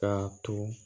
Ka turu